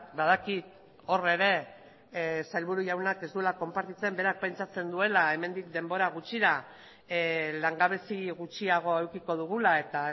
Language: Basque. badakit hor ere sailburu jaunak ez duela konpartitzen berak pentsatzen duela hemendik denbora gutxira langabezi gutxiago edukiko dugula eta